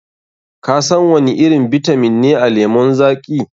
Kasan wani irin bitamin ne a lemon zaƙi?